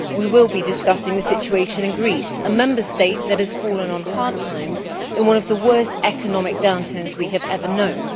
We will be discussing the situation in Greece, a Member State that has fallen on hard times in one of the worst economic downturns we have ever known.